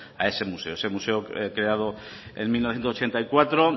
a ese museo ese museo creado en mil novecientos ochenta y cuatro